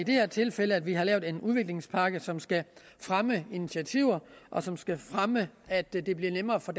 det her tilfælde at vi har lavet en udviklingspakke som skal fremme initiativer og som skal fremme at det bliver nemmere for